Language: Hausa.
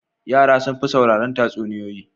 Yara sun fi sauraron tatsuniyoyi.